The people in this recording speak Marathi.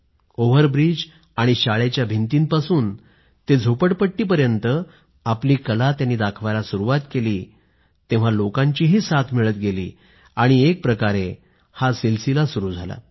ओव्हरब्रिज आणि शाळेच्या भिंतींपासून ते झोपडपट्टीपर्यंत आपली कला त्यांनी दाखवायला सुरूवात केली तेव्हा लोकांचीही साथ मिळत गेली आणि एक प्रकारे हा सिलसिला सुरू झाला